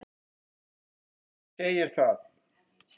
Hann Fúsi segir það.